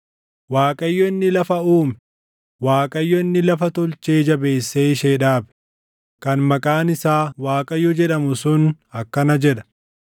“ Waaqayyo inni lafa uume, Waaqayyo inni lafa tolchee jabeessee ishee dhaabe, kan maqaan isaa Waaqayyo jedhamu sun akkana jedha;